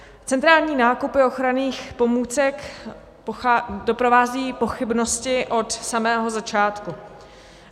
Centrální nákupy ochranných pomůcek doprovázejí pochybnosti od samého začátku.